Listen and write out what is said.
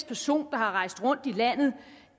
person der har rejst rundt i landet